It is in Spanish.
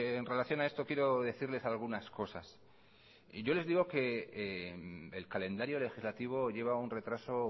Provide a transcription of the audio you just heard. en relación a esto quiero decirles algunas cosas y yo les digo que el calendario legislativo lleva un retraso